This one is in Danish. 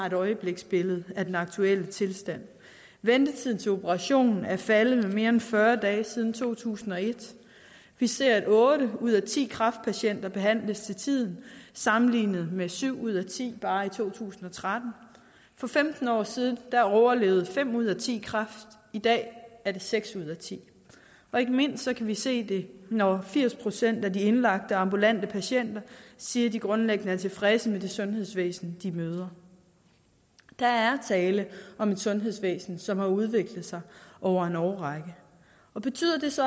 et øjebliksbillede af den aktuelle tilstand ventetiden til operation er faldet med mere end fyrre dage siden to tusind og et vi ser at otte ud af ti kræftpatienter behandles til tiden sammenlignet med syv ud af ti bare i to tusind og tretten for femten år siden overlevede fem ud af ti kræft i dag er det seks ud af ti og ikke mindst kan vi se det når firs procent af de indlagte ambulante patienter siger at de grundlæggende er tilfredse med det sundhedsvæsen de møder der er tale om et sundhedsvæsen som har udviklet sig over en årrække og betyder det så